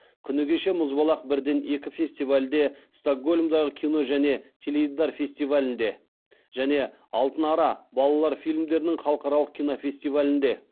күні кеше мұзбалақ бірден екі фестивальде стокгольмдағы кино және теледидар фестивалінде және алтын ара балалар фильмдерінің халықаралық кинофестивалінде